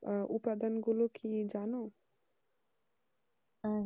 আহ ও উপাদানগুলি কি জানো